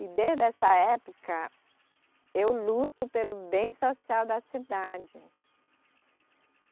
E desde essa época eu luto pelo bem social da cidade.